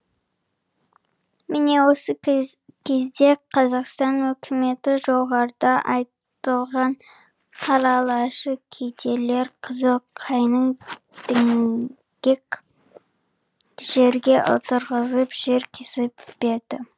міне осы кезде қазақстан өкіметі жоғарыда айтылған қара лашық кедейлерді қызыл қайың діңгек жерге отырғызып жер кесіп берді